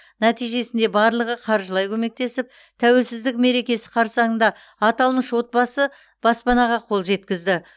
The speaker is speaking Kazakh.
нәтижесінде барлығы қаржылай көмектесіп тәуелсіздік мерекесі қарсаңында аталмыш отбасы баспанаға қол жеткізді